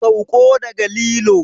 Sauko daga lilo!